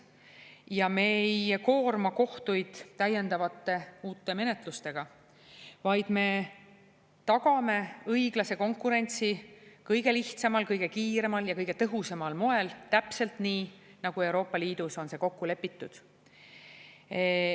Ja me ei koorma kohtuid täiendavate uute menetlustega, vaid me tagame õiglase konkurentsi kõige lihtsamal, kõige kiiremal ja kõige tõhusamal moel, täpselt nii, nagu see on Euroopa Liidus kokku lepitud.